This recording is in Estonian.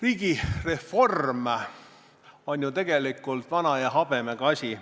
Riigireform on ju tegelikult vana ja habemega asi.